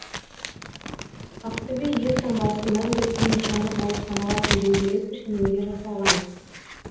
ақтөбе елтаңбасы мәңгіліктің нышаны болып саналатын дөңгелек пішінінде жасалған